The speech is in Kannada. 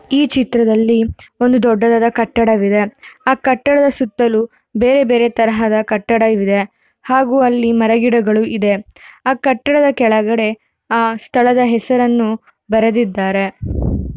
ಈ ಚಿತ್ರದಲ್ಲಿ ಒಂದು ದೊಡ್ಡ ಕಟ್ಟಡ ಇದೆ ಆ ಕಟ್ಟಡ ಸುತ್ತಲೂ ಬೇರೆ ಬೇರೆ ತರಹದ ಕಟ್ಟಡಗಳು ಇವೆ. ಹಾಗೂ ಅಲ್ಲಿಮರ ಗಿಡಗಳು ಇದೆ. ಕಟ್ಟಡದ ಕೆಳಗಡೆ ಆ ಸ್ಥಳದ ಹೆಸರನ್ನು ಬರೆದಿದ್ದಾರೆ.